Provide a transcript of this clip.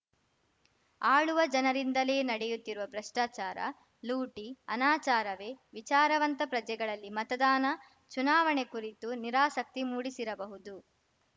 ಆಳುವ ಜನರಿಂದಲೇ ನಡೆಯುತ್ತಿರುವ ಭ್ರಷ್ಟಾಚಾರ ಲೂಟಿ ಅನಾಚಾರವೇ ವಿಚಾರವಂತ ಪ್ರಜೆಗಳಲ್ಲಿ ಮತದಾನ ಚುನಾವಣೆ ಕುರಿತು ನಿರಾಸಕ್ತಿ ಮೂಡಿಸಿರಬಹುದು